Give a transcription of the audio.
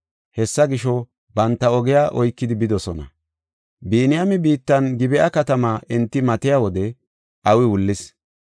Hessa gisho banta ogiya oykidi bidosona. Biniyaame biittan Gib7a katamaa enti matiya wode awi wullis.